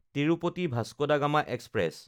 তিৰুপতি–ভাস্কো da Gama express